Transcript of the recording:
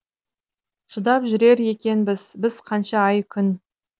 шыдап жүрер екенбіз бізқанша ай күн